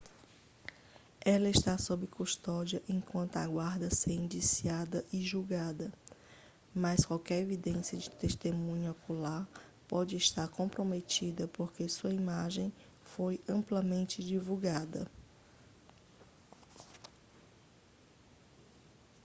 ela está sob custódia enquanto aguarda ser indiciada e julgada mas qualquer evidência de testemunha ocular pode estar comprometida porque sua imagem foi amplamente divulgada